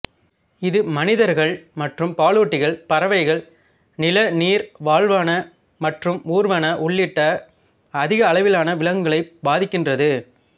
இது மனிதர்கள் மற்றும் பாலூட்டிகள் பறவைகள் நிலநீர் வாழ்வன மற்றும் ஊர்வன உள்ளிட்ட அதிகளவிலான விலங்குகளைப் பாதிக்கின்றது